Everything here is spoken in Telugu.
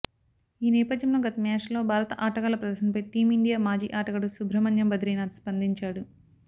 ఈ నేపథ్యంలో గత మ్యాచ్ల్లో భారత ఆటగాళ్ల ప్రదర్శపై టీమిండియా మాజీ ఆటగాడు సుబ్రహ్మణ్యం బద్రీనాథ్ స్పందించాడు